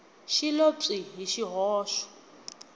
xi lo pyi hi swihoxo